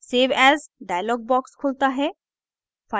save as dialog box खुलता है